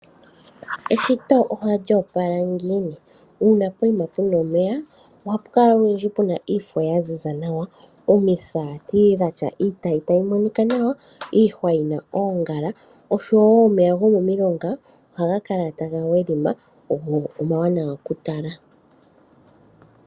Eshito ohali opala ngiini! Uuna poima puna omeya ohapu kala olundji puna iifo yaziza nawa, omisaati dhatya iitayi tayi monika nawa, iihwa yina oongala oshowo omeya gomomilonga ohaga kala tagaadhima go omawanawa kutala.